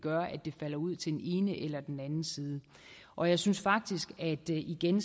falder ud til den ene eller den anden side og jeg synes faktisk at det igen